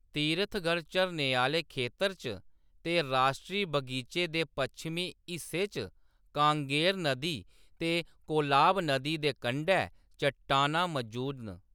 तीरथगढ़ झरने आह्‌ले खेतर च ते राश्ट्री बगीचे दे पच्छमी हिस्से च कांगेर नदी ते कोलाब नदी दे कंढै चट्टानां मजूद न।